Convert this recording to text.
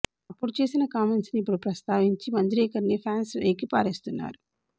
అప్పుడు చేసిన కామెంట్స్ ని ఇప్పుడు ప్రస్తావించి మంజ్రేకర్ ని ఫ్యాన్స్ ఏకిపారేస్తున్నారు